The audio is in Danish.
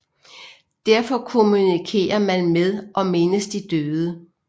Derfor kommunikerer man med og mindes de døde